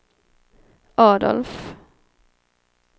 Adolf